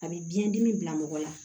A bɛ biyɛn dimi bila mɔgɔ la